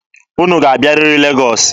Unu ga-abịarịrị Legọọsị!